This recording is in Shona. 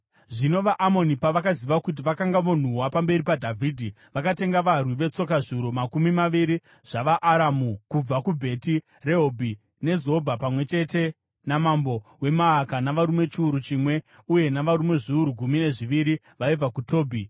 Zvino vaAmoni pavakaziva kuti vakanga vonhuhwa pamberi paDhavhidhi, vakatenga varwi vetsoka zviuru makumi maviri zvavaAramu kubva kuBheti Rehobhi neZobha, pamwe chete namambo weMaaka navarume chiuru chimwe, uye navarume zviuru gumi nezviviri vaibva kuTobhi.